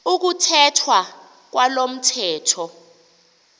ukuthethwa kwalo mthetho